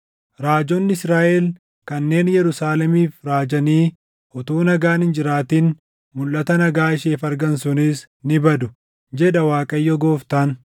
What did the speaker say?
raajonni Israaʼel kanneen Yerusaalemiif raajanii utuu nagaan hin jiraatin mulʼata nagaa isheef argan sunis ni badu, jedha Waaqayyo Gooftaan.” ’